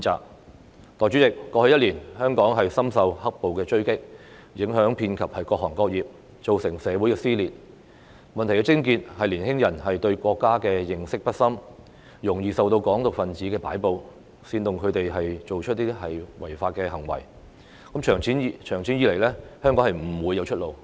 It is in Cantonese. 代理主席，過去一年，香港深受"黑暴"的追擊，影響遍及各行各業，造成社會撕裂，問題的癥結是年輕人對國家的認識不深，容易受到"港獨"分子的擺布，煽動他們做出違法行為，長此下去，香港不會有出路。